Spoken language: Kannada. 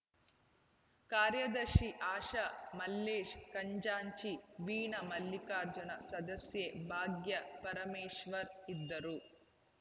ಕಾರ್ಯದರ್ಶಿ ಆಶಾ ಮಲ್ಲೇಶ್‌ ಖಂಜಾಂಚಿ ವೀಣಾ ಮಲ್ಲಿಕಾರ್ಜುನ್‌ ಸದಸ್ಯೆ ಭಾಗ್ಯ ಪರಮೇಶ್ವರ್ ಇದ್ದರು